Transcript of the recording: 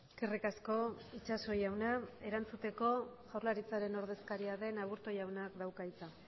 eskerrik asko itxaso jauna erantzuteko jaurlaritzaren ordezkaria den aburto jaunak dauka hitza